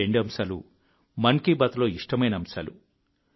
ఈ రెండు అంశాలు మన్ కీ బాత్లో ఇష్టమైన అంశాలు